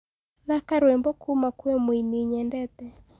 thaka rwĩmbo kũma kwi mũĩnĩ nyendete